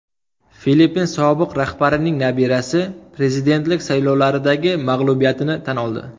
Filippin sobiq rahbarining nabirasi prezidentlik saylovlaridagi mag‘lubiyatini tan oldi.